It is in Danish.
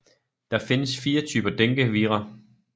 Der findes fire typer dengue vira